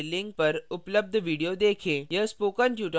नीचे दिए गए link पर उपलब्ध video देखें